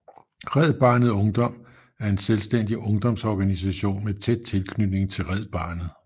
Red Barnet Ungdom er en selvstændig ungdomsorganisation med tæt tilknytning til Red Barnet